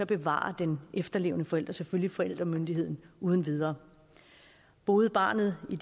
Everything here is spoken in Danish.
bevarer den efterlevende forælder selvfølgelig forældremyndigheden uden videre boede barnet i